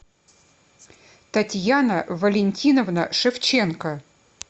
татьяна валентиновна шевченко